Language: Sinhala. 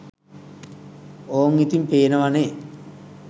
ඕං ඉතිං පේනව​නේ